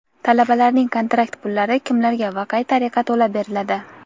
Talabalarning kontrakt pullari kimlarga va qay tariqa to‘lab beriladi?.